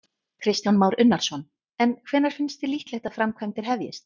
Kristján Már Unnarsson: En hvenær finnst þér líklegt að framkvæmdir hefjist?